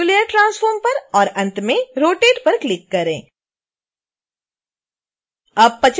फिर new layer transform पर और अंत में rotate पर क्लिक करें